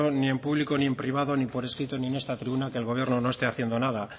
ni en público ni en privado ni por escrito ni en esta tribuna que el gobierno no esté haciendo nada